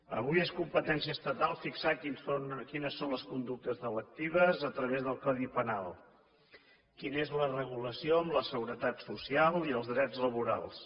avui és competència estatal fixar quines són les conductes delictives a través del codi penal quina és la regulació amb la seguretat social i els drets laborals